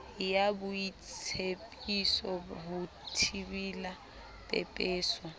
ya boitsebiso ho thibela pepeso